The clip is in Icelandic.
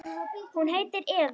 Hún heitir Eva.